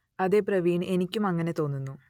അതേ പ്രവീൺ എനിക്കും അങ്ങനെ തോന്നുന്നു